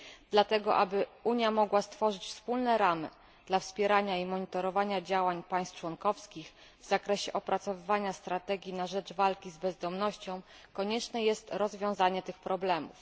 Dlatego aby Unia mogła stworzyć wspólne ramy dla wspierania i monitorowania działań państw członkowskich w zakresie opracowywania strategii na rzecz walki z bezdomnością, konieczne jest rozwiązanie tych problemów.